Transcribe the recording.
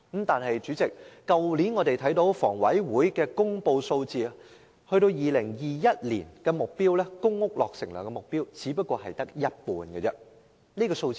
但是，主席，香港房屋委員會去年公布2021年的公屋落成量目標只是這數字的一半。